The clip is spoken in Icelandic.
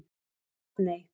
Arney